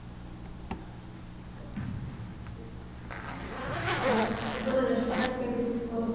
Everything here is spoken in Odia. ଆଉ ସେପଟ restaurant କେମିତି ଭଲ